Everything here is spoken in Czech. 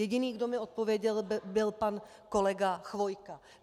Jediný, kdo mi odpověděl, byl pan kolega Chvojka.